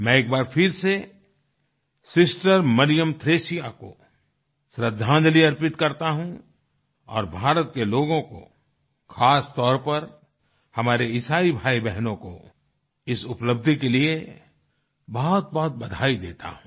मैं एक बार फिर से सिस्टर मरियम थ्रेसिया को श्रद्धांजलि अर्पित करता हूँ और भारत के लोगों को खास तौर पर हमारे ईसाई भाईबहनों को इस उपलब्धि के लिए बहुतबहुत बधाई देता हूँ